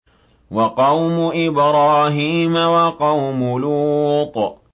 وَقَوْمُ إِبْرَاهِيمَ وَقَوْمُ لُوطٍ